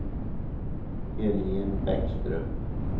Helen Bäckström